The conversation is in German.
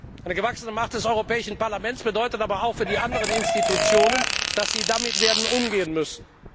Eine gewachsene Macht des Europäischen Parlaments bedeutet aber auch für die anderen Institutionen, dass sie damit werden umgehen müssen.